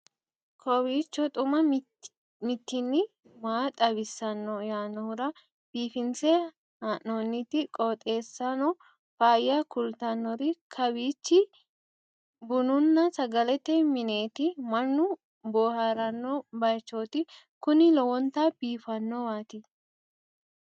kowiicho xuma mtini maa xawissanno yaannohura biifinse haa'noonniti qooxeessano faayya kultannori kawiichi bununna sagalete mineeti mannu booharanno baychooti kuni lowonta biifannowaati